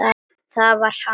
Það var hann!